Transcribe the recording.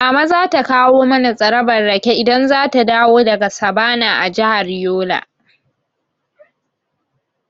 Mama za ta kawo mana tsarabar rake idan zata dawo daga sabana a jihar Yola.